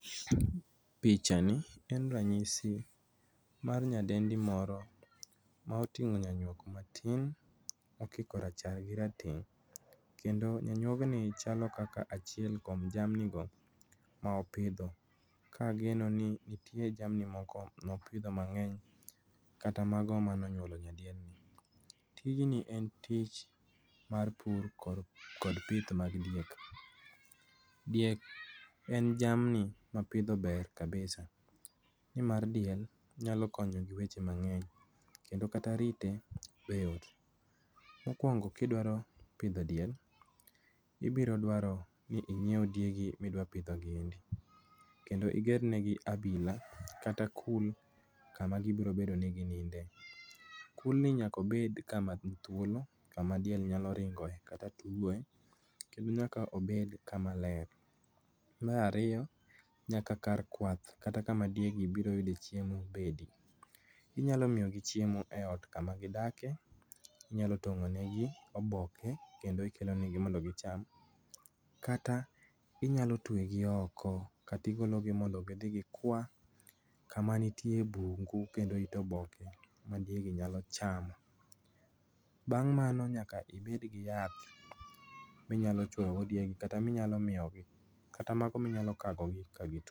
Pichani en ranyisi mar nyadendi moro moting'o nyanyuok matin mokiko rachar gi rateng', kendo nyanyuog ni chalo kaka achiel kuom jamni go mopidho. Ka ageno ni nitie jamni moko ma opidho mang'eny kata mano mane onyuolo nyadiendni. Tijni en tich mar pur kod pith mag diek. Diek en jamni ma pidho ber kabisa nimar diel nyalo konyo gi weche mang'eny kendo kata rite be yot. Mokuongo ka idwaro pidho diel ibiro dwaro ni inyiew diegi midwa pidho giendi kendo iger negi abila kata kul kama gibiro bedo ni gininde. Kulni nyaka obed kama nithuolo, kama diel nyalo ringoe kata tugoe kendo nyaka obed kama ler. Mar ariyo nyaka kar kuwath kata kama diegi biro yude chiemo bende. Inyalo miyogi chiemo eot kama gidakie, inyalo tong'onegi oboke kendo ikelo negi mondo gicham kata inyalo tuegi oko kata igolo gi mondo gidhikwa kama nitie bungu kendo it oboke magigi nyalo chamo. Bang' mano nyaka ibed giyath minyalo chuoyogo diegi kata mano ma inyalo kagogi ka gituo.